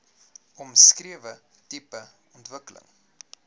omskrewe tipe ontwikkeling